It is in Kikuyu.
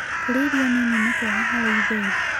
Kũrĩa irio nĩnĩ nĩ kwega harĩ ĩthĩĩ